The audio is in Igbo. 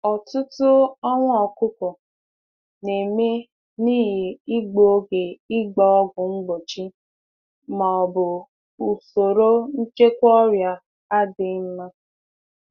Ọtụtụ ọnwụ anụ ọkụkọ na-eme n'ihi mgbasa ọgwụ dara oge maọbụ nlekọta ọrịa na-adịghị mma.